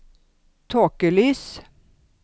tåkelys